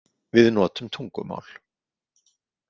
Við notum tungumál.